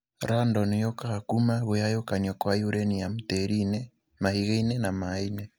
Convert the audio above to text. Radon yũkaga kuma gũgayũkanio kwa uranium tĩriinĩ, mahigainĩ na mainĩ.